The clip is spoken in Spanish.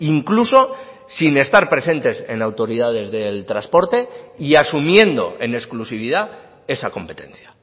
incluso sin estar presentes en autoridades del transporte y asumiendo en exclusividad esa competencia